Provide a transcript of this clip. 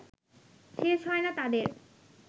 শেষ হয় না তাদের